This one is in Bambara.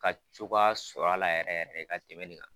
Ka cogoya sɔrɔ a la yɛrɛ yɛrɛ ka tɛmɛnni kan.